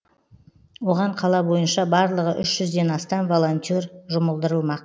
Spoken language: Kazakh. оған қала бойынша барлығы үш жүзден астам волонтер жұмылдырылмақ